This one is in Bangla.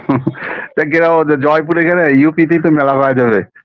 জয়পুরে গেলে UP - তে তো